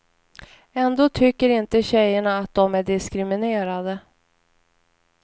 Ändå tycker inte tjejerna att de är diskriminerade.